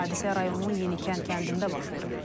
Hadisə rayonun Yenikənd kəndində baş verib.